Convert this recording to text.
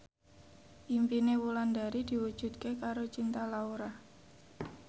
impine Wulandari diwujudke karo Cinta Laura